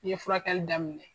Ni ye furakɛli daminɛ